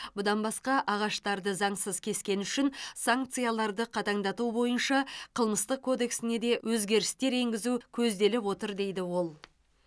бұдан басқа ағаштарды заңсыз кескені үшін санкцияларды қатаңдату бойынша қылмыстық кодексіне де өзгерістер енгізу көзделіп отыр дейді ол